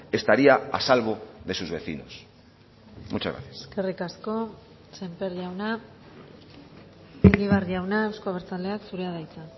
estaría a salvo de sus vecinos muchas gracias eskerrik asko sémper jauna egibar jauna euzko abertzaleak zurea da hitza